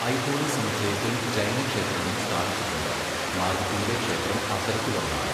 ഐഹോളെ സമുച്ചയത്തിൽ ജൈന ക്ഷേത്രങ്ങളും സ്ഥാപിച്ചിട്ടുണ്ട്, മാഗുട്ടിയിലെ ക്ഷേത്രം അത്തരത്തിലൊന്നാണ്.